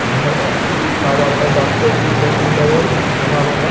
हार अथी ताजा-ताजा कोभी छे अने लगल हरा वाला |